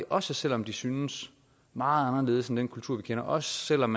også selv om de synes meget anderledes end den kultur vi kender og selv om